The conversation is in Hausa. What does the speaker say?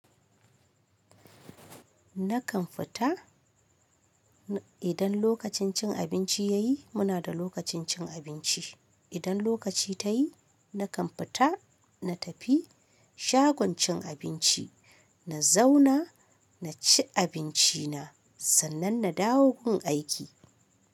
Nakan fita, idan lokacin cin abinci yayi, muna da lokacin cin abinci. Idan lokaci ya yi nakan fita na tafi shagon cin abinci, na zauna, na ci abinci na, sannan na dawo gun aiki.